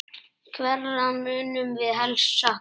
Hverra munum við helst sakna?